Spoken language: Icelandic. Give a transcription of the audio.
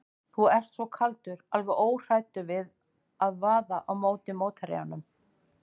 Þú ert svo kaldur, alveg óhræddur við að vaða á móti mótherjunum.